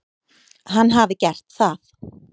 Hann hafi gert það.